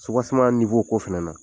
Supaseman ninfo ko fɛnɛ na